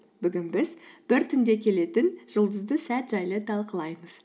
бүгін біз бір түнде келетін жұлдызды сәт жайлы талқылаймыз